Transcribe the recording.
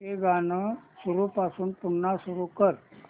हे गाणं सुरूपासून पुन्हा सुरू कर